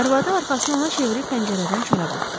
Arvadı arxasını ona çevirib pəncərədən çölə baxdı.